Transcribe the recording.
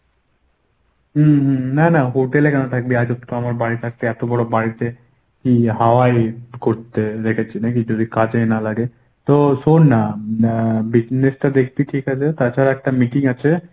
হুম হুম না না hotel এ কেন থাকবি আজব তো আমার বাড়ি থাকতে এতবড় বাড়িতে কী হাওয়ায় করতে রেখেছি নাকি যদি কাজেই না লাগে! তো শোন না আহ business টা দেখতি ঠিকাছে তাছাড়া একটা meeting আছে